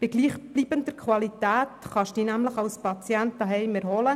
Bei gleichbleibender Qualität kann man sich nämlich als Patient auch zu Hause erholen.